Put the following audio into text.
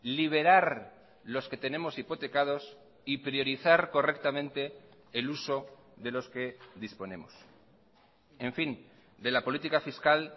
liberar los que tenemos hipotecados y priorizar correctamente el uso de los que disponemos en fin de la política fiscal